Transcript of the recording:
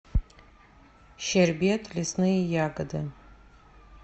щербет лесные ягоды